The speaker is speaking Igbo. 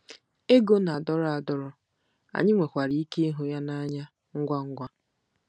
Ego na-adọrọ adọrọ,, anyị nwekwara ike ịhụ ya n'anya ngwa ngwa.